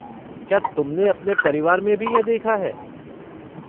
क्या तुमने अपने परिवार में भी यह देखा है?